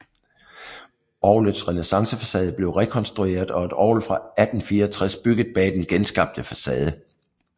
Orglets renæssancefacade blev rekonstrueret og et orgel fra 1864 bygget bag den genskabte facade